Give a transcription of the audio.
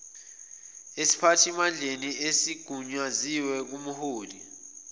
esiphathimandleni esigunyaziwe kumhloli